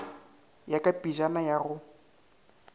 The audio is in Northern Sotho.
ya ka pejana ya go